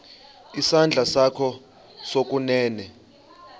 isandla sakho sokunene